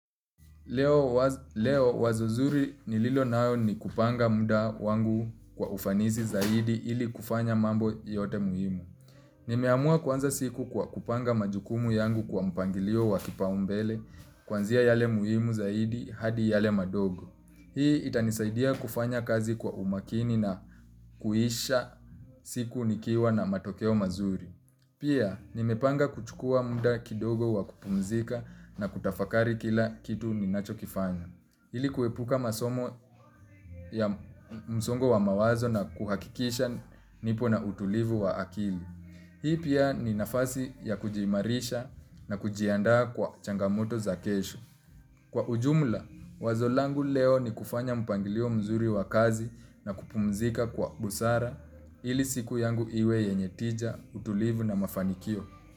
Leo wazo zuri nililo nalo ni kupanga muda wangu kwa ufanisi zaidi ili kufanya mambo yote muhimu. Nimeamua kuanza siku kwa kupanga majukumu yangu kwa mpangilio wa kipaumbele kuanzia yale muhimu zaidi hadi yale madogo. Hii itanisaidia kufanya kazi kwa umakini na kuisha siku nikiwa na matokeo mazuri. Pia, nimepanga kuchukua muda kidogo wa kupumzika na kutafakari kila kitu ninacho kifanya. Ili kuepuka masomo ya msongo wa mawazo na kuhakikisha nipo na utulivu wa akili. Hii pia ni nafasi ya kujiimarisha na kujiandaa kwa changamoto za kesho. Kwa ujumla, wazo langu leo ni kufanya mpangilio mzuri wa kazi na kupumzika kwa busara ili siku yangu iwe yenye tija, utulivu na mafanikio.